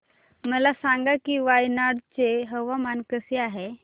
मला सांगा की वायनाड चे हवामान कसे आहे